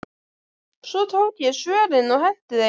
Svo tók ég svörin og henti þeim.